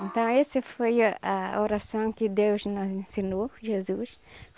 Então esse foi a oração que Deus nos ensinou, Jesus.